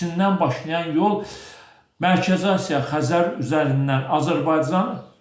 Çindən başlayan yol Mərkəzi Asiya Xəzər üzərindən Azərbaycan.